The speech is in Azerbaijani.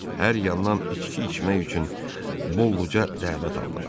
Hər yandan içki içmək üçün bolluca dəvət aldılar.